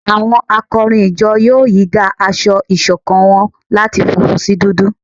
Awọn akọrin ìjọ yóò yìí dá aṣọ ìṣọ̀kan wọn láti fúnfún sí dúdú